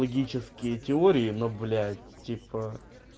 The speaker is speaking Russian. логические теории но блять типа